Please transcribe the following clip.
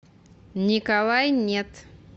николай нет